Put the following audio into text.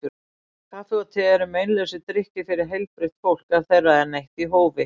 Kaffi og te eru meinlausir drykkir fyrir heilbrigt fólk ef þeirra er neytt í hófi.